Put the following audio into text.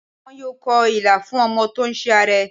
Wọ́n yóò kọ Ilà fún ọmọ tó ń ṣe àárẹ̀.